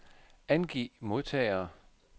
Angiv modtagere.